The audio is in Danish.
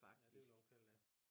Ja det ville jeg og kalde det